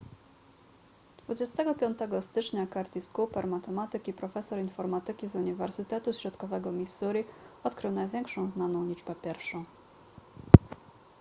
25 stycznia curtis cooper matematyk i profesor informatyki z uniwersytetu środkowego missouri odkrył największą znaną liczbę pierwszą